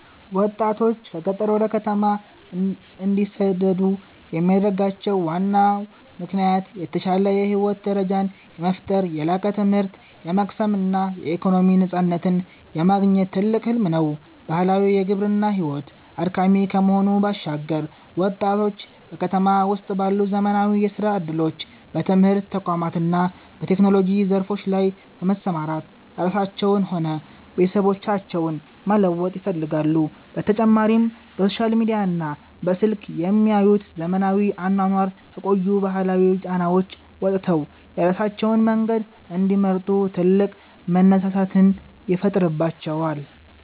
ወጣቶች ከገጠር ወደ ከተማ እንዲሰደዱ የሚያደርጋቸው ዋናው ምክንያት የተሻለ የህይወት ደረጃን የመፍጠር፣ የላቀ ትምህርት የመቅሰም እና የኢኮኖሚ ነፃነትን የማግኘት ትልቅ ህልም ነው። ባህላዊው የግብርና ሕይወት አድካሚ ከመሆኑ ባሻገር፣ ወጣቶች በከተማ ውስጥ ባሉ ዘመናዊ የሥራ ዕድሎች፣ በትምህርት ተቋማት እና በቴክኖሎጂ ዘርፎች ላይ በመሰማራት ራሳቸውንም ሆነ ቤተሰቦቻቸውን መለወጥ ይፈልጋሉ፤ በተጨማሪም በሶሻል ሚዲያና በስልክ የሚያዩት ዘመናዊ አኗኗር ከቆዩ ባህላዊ ጫናዎች ወጥተው የራሳቸውን መንገድ እንዲመርጡ ትልቅ መነሳሳትን ይፈጥርባቸዋል።